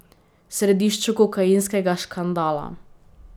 V središču kokainskega škandala?